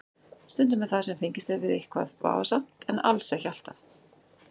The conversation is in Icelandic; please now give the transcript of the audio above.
Stundum er það sem fengist er við eitthvað vafasamt en alls ekki alltaf.